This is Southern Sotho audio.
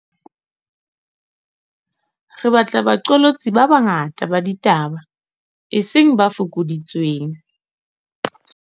Re batla baqolotsi ba banga ta ba ditaba, eseng ba fokoditsweng.